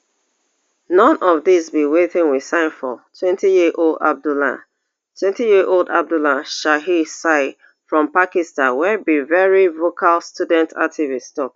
none of dis be wetin we sign for twenty year old abdullah twenty year old abdullah shahid sial from pakistan wey be veri vocal student activist tok